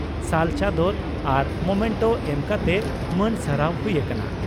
ᱥᱟᱞ ᱪᱟᱫᱚᱨ ᱟᱨ ᱢᱚᱢᱮᱱᱴᱚ ᱮᱢ ᱠᱟᱛᱮ ᱢᱟᱹᱱ ᱥᱟᱨᱦᱟᱣ ᱦᱩᱭ ᱟᱠᱟᱱᱟ ᱾